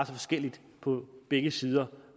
forskelligt på begge sider